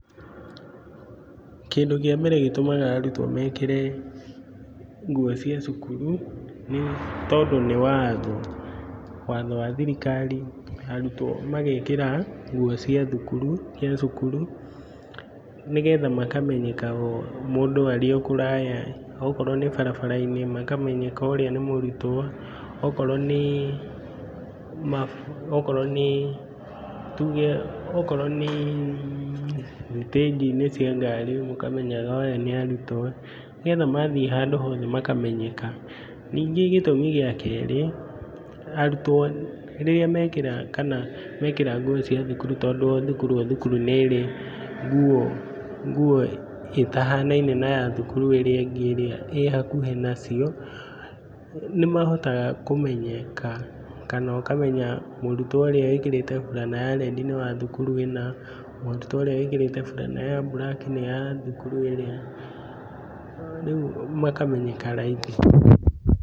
Kĩndũ kĩa mbere gĩtũmaga arutwo mekĩre nguo cia cukuru, nĩ tondũ nĩ watho. Watho wa thirikari arutwo magekĩra nguo cia thukuru, cia cukuru, nĩgetha makamenyekaga o mũndũ arĩ o kũraya, okorwo nĩ barabarai-ini makamenyeka ũrĩa nĩ mũrutwo, akorwo nĩ, tuge, akorwo nĩ thitĩgii-inĩ cia ngari, ũkamenyega aya nĩ arũtwo, nĩgetha mathiĩ handũ hothe makamenyeka. Ningĩ gĩtũmi gĩa keri, arutwo rĩrĩa mekĩra kana mekĩra nguo cia thukuru tondũ o thukuru o thukuru nĩrĩ nguo, nguo itahanaine na ya thukuru ĩrĩa ĩngĩ ĩ hakuhĩ nacio. Nimahotekaga kũmenyeka kana ũkamenya, mũrũtwo ũrĩa wĩkĩrĩte burana ya rendi nĩ wathukura ũna, mũrutwo ũria wĩkĩrĩte burana ya buraki nĩ wa thukuru ũna. Riu makamenyeka raithi.